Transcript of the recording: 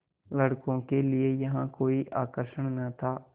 लड़कों के लिए यहाँ कोई आकर्षण न था